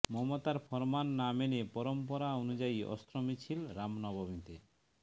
মমতার ফরমান না মেনে পরম্পরা অনুযায়ী অস্ত্র মিছিল রামনবমীতে